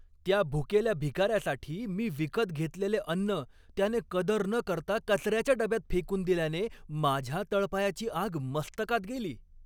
त्या भुकेल्या भिकाऱ्यासाठी मी विकत घेतलेले अन्न, त्याने कदर न करता कचऱ्याच्या डब्यात फेकून दिल्याने माझ्या तळपायाची आग मस्तकात गेली.